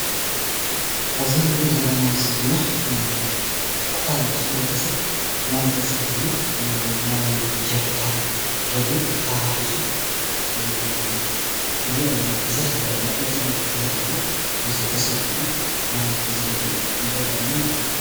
አብዚ እንሪኦ ዘለና ምሰሊ ድማ ክፋል ሕብረተሰብ ማይ ተፀጊሙ ማይ ጀሪካን ደልዩ ተራ ሒዙ ንሪኦ አለና፡፡ ብዝሕ ዝበለ ቁፅሪ ዘለዎ ህዝቢ ተሰሊፉ ማይ ዝደሊ ንርኢ አለና ማለት እዩ፡፡